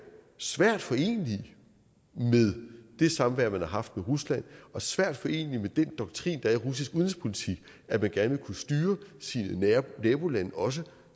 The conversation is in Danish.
svært forenelige med det samvær man har haft med rusland og svært forenelige med den doktrin der er i russisk udenrigspolitik at man gerne vil kunne styre sine nabolande også